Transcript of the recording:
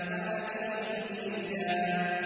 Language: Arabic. وَأَكِيدُ كَيْدًا